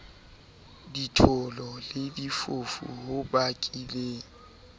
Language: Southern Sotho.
ditholo le difofu ho bakileng